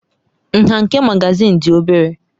Nha nke magazin dị obere.